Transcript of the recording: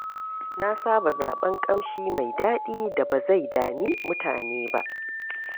Na saba zaɓen ƙamshi mai daɗi da ba zai dami mutane ba.